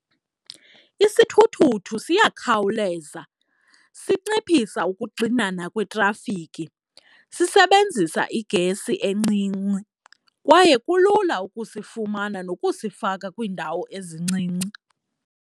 Isithuthuthu siyakhawuleza, sinciphisa ukuxinana kwetrafikhi, sisebenzisa igesi encinci kwaye kulula ukusifumana nokusifaka kwiindawo ezincinci.